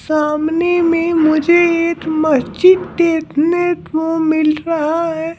सामने में मुझे एक मस्जिद देखने को मिल रहा है।